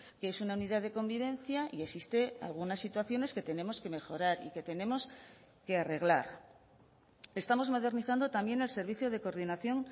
qué es una unidad de convivencia y existe algunas situaciones que tenemos que mejorar y que tenemos que arreglar estamos modernizando también el servicio de coordinación